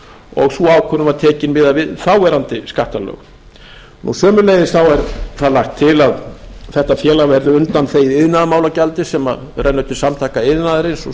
og sú ákvörðun var tekin miðað við núverandi skattalög sömuleiðis var lagt til að þetta félag verði undanþegið iðnaðarmálagjaldi sem rennur til samtaka iðnaðarins og